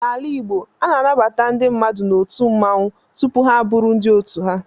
N'ala Igbo, a na-anabata ndị mmadụ n'otu mmanwụ tupu ha abụrụ ndị otu ha.